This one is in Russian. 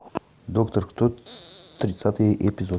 доктор кто тридцатый эпизод